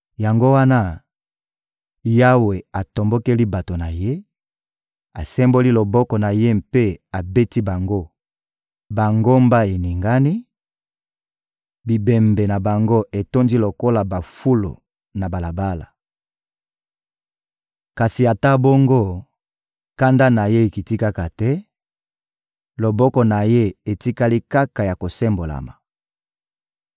Yango wana, Yawe atombokeli bato na Ye, asemboli loboko na Ye mpe abeti bango; bangomba eningani, bibembe na bango etondi lokola bafulu na balabala. Kasi ata bongo, kanda na Ye ekiti kaka te, loboko na Ye etikali kaka ya kosembolama.